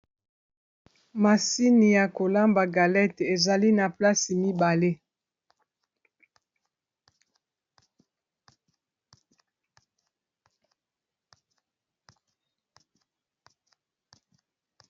Masini ya kolamba galette ezali na place mibale.